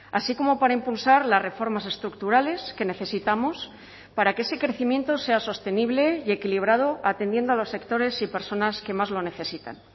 así como para impulsar las reformas estructurales que necesitamos para que ese crecimiento sea sostenible y equilibrado atendiendo a los sectores y personas que más lo necesitan